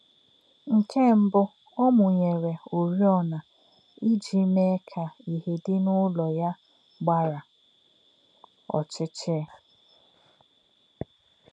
Nkè̄ mbụ̀, ó̄ mụ̀nyèrè̄ ọ̀rị́ọ̄nā̄ íjì̄ mè̄è̄ kā̄ ìhè̄ dì̄ n’ùlò̄ yá̄ gbà̄rà̄ ọ̀chí̄chí̄.